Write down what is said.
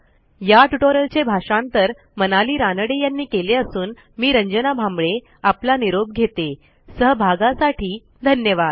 या ट्युटोरियलचे भाषांतर मनाली रानडे यांनी केले असून आवाज यांनी दिला आहेसहभागाबद्दल धन्यवाद